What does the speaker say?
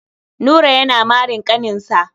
Nura yana marin ƙaninsa.